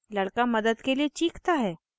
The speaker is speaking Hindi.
लड़का मदद के लिए चीखता है